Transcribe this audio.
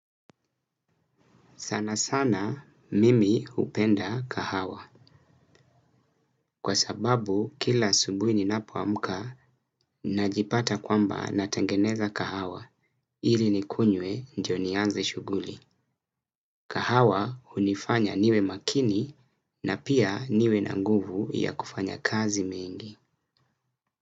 Sana sana mimi hupenda kahawa kwa sababu kila asubuhi ninapoamka najipata kwamba natengeneza kahawa ili nikunywe ndio nianze shughuli. Kahawa unifanya niwe makini na pia niwe na nguvu ya kufanya kazi mingi.